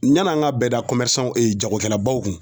Yan'an ka bɛda ɛ jagokɛlabaw kun